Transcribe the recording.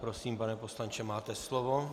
Prosím, pane poslanče, máte slovo.